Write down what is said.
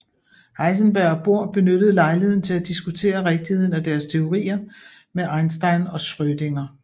Heisenberg og Bohr benyttede lejligheden til at diskutere rigtigheden af deres teorier med Einstein og Schrödinger